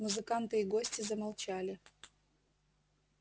музыканты и гости замолчали